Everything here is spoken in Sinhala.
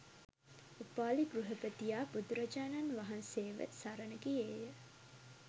උපාලි ගෘහපතියා බුදුරජාණන් වහන්සේ ව සරණ ගියේ ය